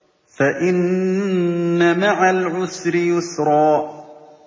فَإِنَّ مَعَ الْعُسْرِ يُسْرًا